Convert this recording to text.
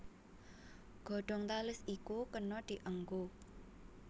Godhong tales iku kena dianggo